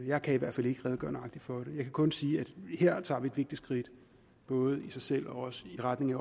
jeg kan i hvert fald ikke redegøre for det jeg kan kun sige at vi her tager et vigtigt skridt både i sig selv og også i retning af at